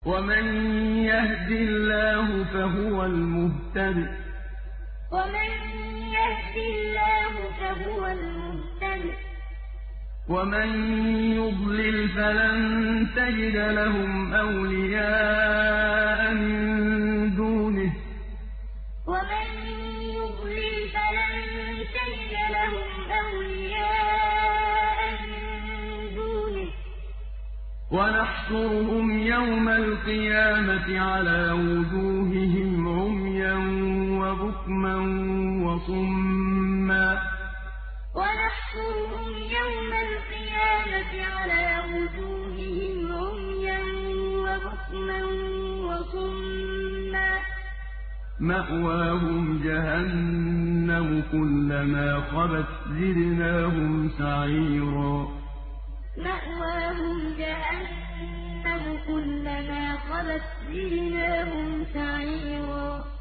وَمَن يَهْدِ اللَّهُ فَهُوَ الْمُهْتَدِ ۖ وَمَن يُضْلِلْ فَلَن تَجِدَ لَهُمْ أَوْلِيَاءَ مِن دُونِهِ ۖ وَنَحْشُرُهُمْ يَوْمَ الْقِيَامَةِ عَلَىٰ وُجُوهِهِمْ عُمْيًا وَبُكْمًا وَصُمًّا ۖ مَّأْوَاهُمْ جَهَنَّمُ ۖ كُلَّمَا خَبَتْ زِدْنَاهُمْ سَعِيرًا وَمَن يَهْدِ اللَّهُ فَهُوَ الْمُهْتَدِ ۖ وَمَن يُضْلِلْ فَلَن تَجِدَ لَهُمْ أَوْلِيَاءَ مِن دُونِهِ ۖ وَنَحْشُرُهُمْ يَوْمَ الْقِيَامَةِ عَلَىٰ وُجُوهِهِمْ عُمْيًا وَبُكْمًا وَصُمًّا ۖ مَّأْوَاهُمْ جَهَنَّمُ ۖ كُلَّمَا خَبَتْ زِدْنَاهُمْ سَعِيرًا